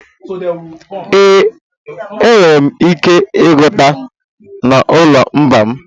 Ee, enwere m ike ịgụta n'olumba m.